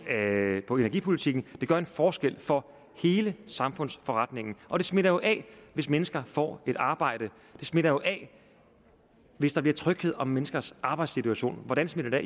på energipolitikken det gør en forskel for hele samfundsforretningen og det smitter jo af hvis mennesker får et arbejde det smitter jo af hvis der bliver tryghed om menneskers arbejdssituation hvordan smitter